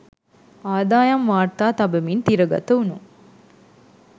අදායම් වාර්තා තබමින් තිරගත වුනු